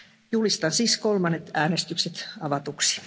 Julistan siis kolmannet äänestykset avatuiksi.